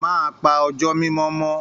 Máa pà ọjọ mimọ mọ.